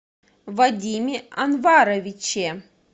вадиме анваровиче